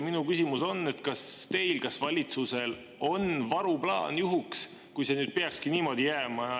Minu küsimus on, kas teil ja valitsusel on varuplaan juhuks, kui see nüüd peakski nii jääma.